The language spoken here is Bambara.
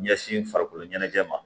Ɲɛsin farikolo ɲɛnajɛ ma